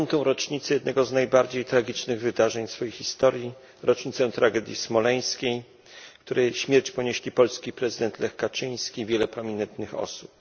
5. rocznicę jednego z najbardziej tragicznych wydarzeń w swojej historii, rocznicę tragedii smoleńskiej, w której śmierć ponieśli polski prezydent Lech Kaczyński oraz wiele pamiętnych osób.